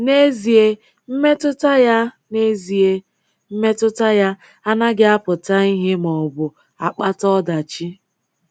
N’ezie, mmetụta ya N’ezie, mmetụta ya anaghị apụta ihe maọbụ akpata ọdachi.